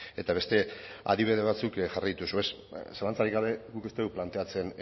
eta beste adibide batzuk jarraitu dituzu zalantzarik gabe guk ez dugu planteatzen